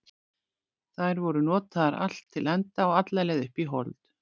Þær voru notaðar allt til enda og alla leið upp í hold.